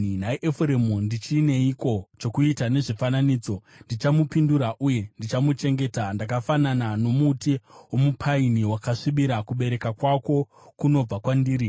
Nhai Efuremu, ndichineiko chokuita nezvifananidzo? Ndichamupindura uye ndichamuchengeta. Ndakafanana nomuti womupaini wakasvibira; kubereka kwako kunobva kwandiri.”